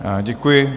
Děkuji.